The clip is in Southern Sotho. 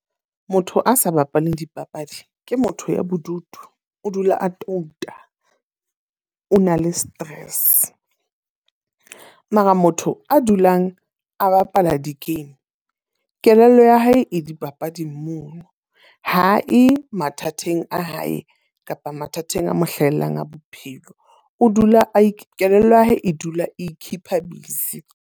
Motho a sa bapaleng dipapadi, ke motho ya bodutu. O dula a touta, o na le stress. Mara motho a dulang a bapala di-game kelello ya hae e dipapading mono. Ha e mathateng a hae kapa mathateng a mo hlahelang a bophelo. O dula a e kelello ya hae e dula e keep-a busy.